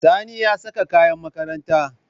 Sani ya saka kayan makaranta.